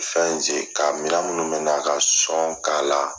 Fɛn ze ka minɛn minnu bɛna ka sɔn k'ala